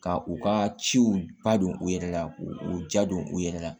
Ka u ka ciw ba don u yɛrɛ la k'u u ja don u yɛrɛ la